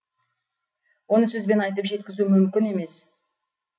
оны сөзбен айтып жеткізу мүмкін емес